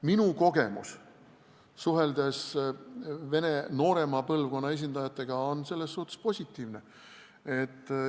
Minu kogemus suheldes vene noorema põlvkonna esindajatega on selles suhtes positiivne.